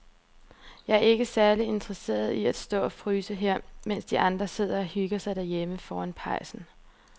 Jeg er ikke særlig interesseret i at stå og fryse her, mens de andre sidder og hygger sig derhjemme foran pejsen.